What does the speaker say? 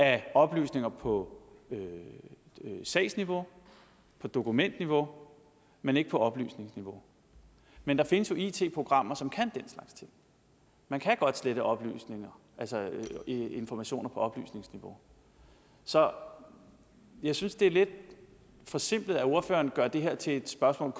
af oplysninger på sagsniveau og dokumentniveau men ikke på oplysningsniveau men der findes jo it programmer som kan det man kan godt slette oplysninger altså informationer på oplysningsniveau så jeg synes det er lidt forsimplet at ordføreren gør det her til et spørgsmål